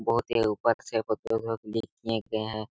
बहुत ही ऊपर से फोटो को क्लिक किए गए है।